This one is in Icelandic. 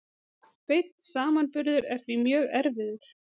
Beinn samanburður er því mjög erfiður.